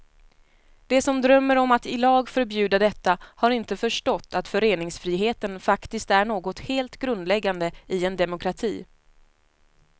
De som drömmer om att i lag förbjuda detta har inte förstått att föreningsfriheten faktiskt är något helt grundläggande i en demokrati.